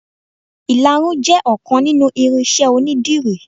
Ìlarun jẹ ọkan nínú irinṣẹ́ onidírì.